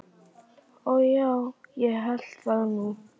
Og já, ég hélt það nú.